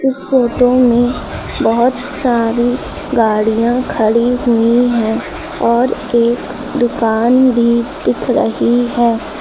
इस फोटो में बहोत सारी गाड़ियां खड़ी हुई हैं और एक दुकान भी दिख रही है।